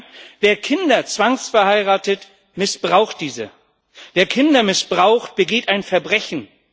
Nein, wer Kinder zwangsverheiratet, missbraucht sie. Wer Kinder missbraucht, begeht ein Verbrechen.